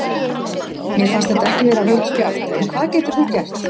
Mér fannst þetta ekki vera rautt spjald en hvað getur þú gert?